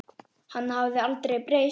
Hann hafði breyst.